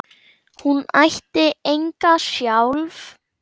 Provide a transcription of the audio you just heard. Hún ætti enga sjálf.